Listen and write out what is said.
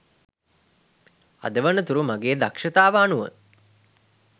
අද වනතුරු මගේ දක්ෂතාව අනුව